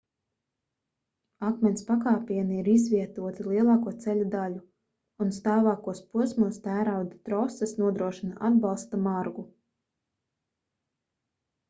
akmens pakāpieni ir izvietoti lielāko ceļa daļu un stāvākos posmos tērauda troses nodrošina atbalsta margu